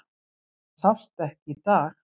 Það sást ekki í dag.